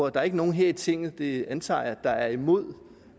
at der er nogen her i tinget det antager jeg der er imod